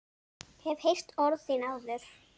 Hef heyrt orð þín áður.